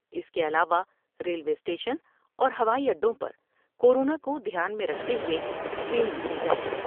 اس کے علاوہ railway station اور ہوائی اڈوں پر کورونا کو دھیان میں رکھتے ہوۓ اسکریننگ کی جاۓ ۔